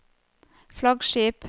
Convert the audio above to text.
flaggskip